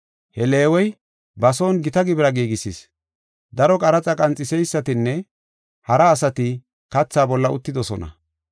He Leewey ba son gita gibira giigisis. Daro qaraxa qanxiseysatinne hara asati katha bolla uttidosona.